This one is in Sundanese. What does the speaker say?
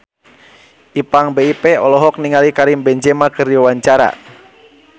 Ipank BIP olohok ningali Karim Benzema keur diwawancara